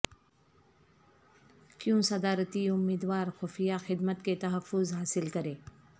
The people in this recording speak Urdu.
کیوں صدارتی امیدوار خفیہ خدمت کے تحفظ حاصل کریں